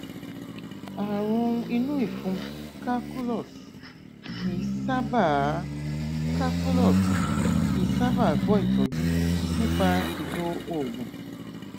ààrùn inú ìfun calculus kìí sábàá calculus kìí sábàá gbọ ìtọjú nípa ìlò oògùn